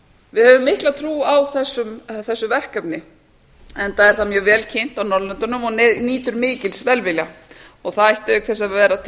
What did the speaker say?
við höfum mikla trú á þessu verkefni enda er það mjög vel kynnt á norðurlöndunum og nýtur mikils velvilja það ætti auk þess að vera til